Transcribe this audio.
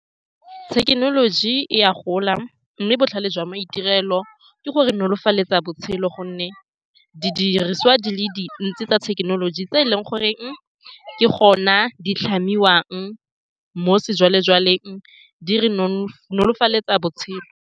Thekenoloji e a gola, mme botlhale jwa maitirelo ke gore e nolofaletsa botshelo, ka gonne di dirisiwa di le dintsi tsa thekenoloji tse e leng gore ke gone di tlhamiwang mo sejwale-jwaleng, di re nolofaletsa botshelo.